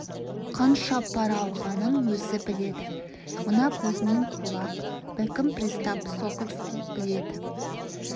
қанша пара алғанын өзі біледі мына кузьмин кулак бәлкім пристав сокольский біледі